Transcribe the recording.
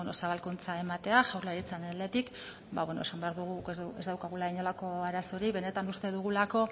zabalkuntza ematea jaurlaritzaren aldetik ba beno esan behar dugu guk ez daukagula inolako arazorik benetan uste dugulako